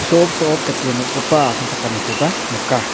so·op so·op dake nom·gipa asongchakanikoba nika.